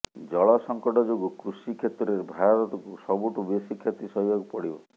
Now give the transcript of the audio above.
ଜଳସଙ୍କଟ ଯୋଗୁଁ କୃଷି କ୍ଷେତ୍ରରେ ଭାରତକୁ ସବୁଠୁ ବେଶୀ କ୍ଷତି ସହିବାକୁ ପଡ଼ିବ